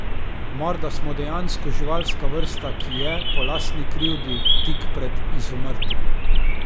Morda smo dejansko živalska vrsta, ki je, po lastni krivdi, tik pred izumrtjem.